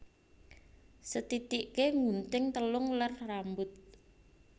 Sethithiké nggunting telung ler rambut